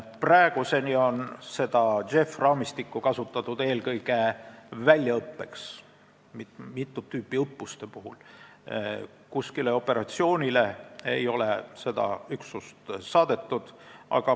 Praeguseni on JEF-i raamistikku kasutatud eelkõige väljaõppeks mitut tüüpi õppuste puhul, kuskile operatsioonile ei ole seda üksust saadetud.